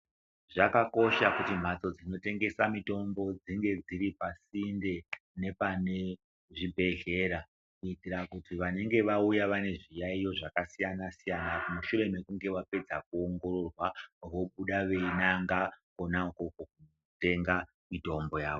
Zvakakosha kuti mhatso dzinotengesa mitombo dzinge dziri pasinde nepane zvibhedhleya kuitira kuti vanenge vauya vane zviyaiyo zvakasiyana siyana mushure mekunge vapedza kuongororwa vobuda veinanga kona ikwokwo kotenga mitombo yavo.